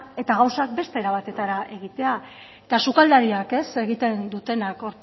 eta gauzak beste era batera egitea eta sukaldariek egiten dutena hor